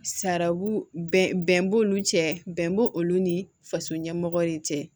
Sarabu bɛn b'olu cɛ bɛnba olu ni faso ɲɛmɔgɔ de cɛ